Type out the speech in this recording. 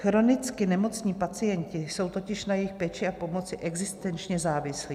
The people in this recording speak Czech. Chronicky nemocní pacienti jsou totiž na jejich péči a pomoc existenčně závislí.